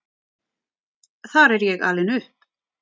Þar er ég alin upp.